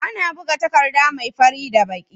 Ana buga takadda me fari da baki